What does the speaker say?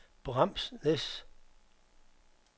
Bramsnæs